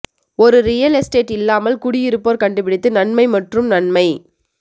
ஒரு real estate இல்லாமல் குடியிருப்போர் கண்டுபிடித்து நன்மை மற்றும் நன்மை